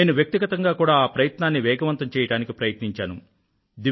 నేను వ్యక్తిగతంగా కూడా ఆ ప్రయత్నాన్ని వేగవంతం చేయడానికి ప్రయత్నించాను